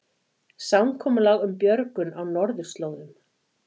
Samkomulag um björgun á norðurslóðum